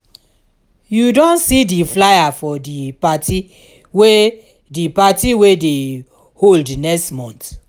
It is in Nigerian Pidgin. you don see di flier for di party wey di party wey dey hold next month?